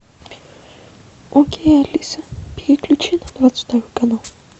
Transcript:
окей алиса переключи на двадцать второй канал